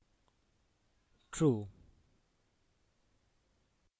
true